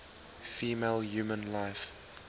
female human life